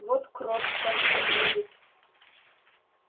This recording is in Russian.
вот крот скажем не видит